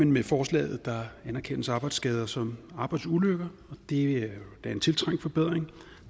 med forslaget anerkendes arbejdsskader som arbejdsulykker og det er da en tiltrængt forbedring